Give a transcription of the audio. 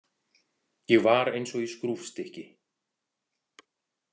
Ég var eins og í skrúfstykki.